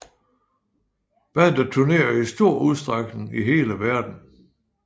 Bandet turnerer i stor udstrækning i hele verden